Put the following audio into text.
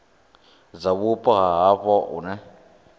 dza vhupo ha havho hune